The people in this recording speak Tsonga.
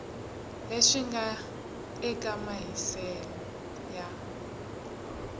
leswi nga eka mahiselo ya